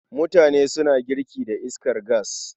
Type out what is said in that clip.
Mutane suna girki da iskar gas.